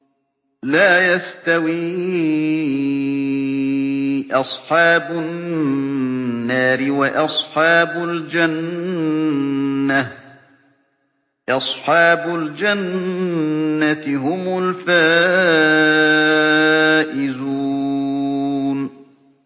لَا يَسْتَوِي أَصْحَابُ النَّارِ وَأَصْحَابُ الْجَنَّةِ ۚ أَصْحَابُ الْجَنَّةِ هُمُ الْفَائِزُونَ